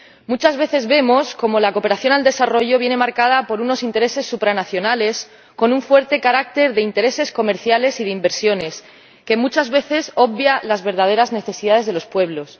Muchas veces vemos cómo la cooperación al desarrollo viene marcada por unos intereses supranacionales, con un fuerte carácter de intereses comerciales y de inversiones que muchas veces obvia las verdaderas necesidades de los pueblos.